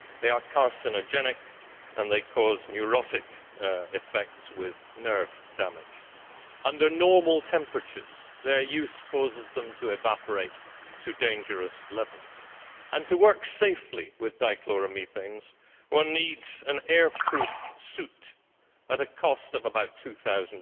They are carcinogenic and they cause neurotic effects with nerve damage. Under normal temperatures their use causes them to evaporate to dangerous levels. To work safely with dichloromethanes one needs an air proof suit at a cost of about EUR 2